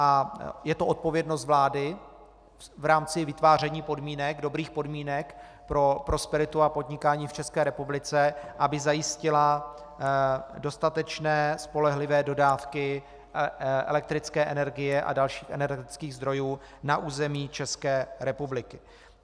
A je to odpovědnost vlády v rámci vytváření dobrých podmínek pro prosperitu a podnikání v České republice, aby zajistila dostatečné, spolehlivé dodávky elektrické energie a dalších energetických zdrojů na území České republiky.